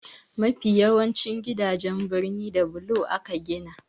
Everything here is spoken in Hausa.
Mafi yawancin gidajen birnin da bulo aka gina.